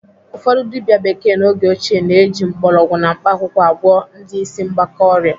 Ụfọdụ dibịa bekee n'oge ochie na-eji mgbọrọgwụ na mkpaakwụkwọ agwọ ndị ịsị mgbaka ọrịa.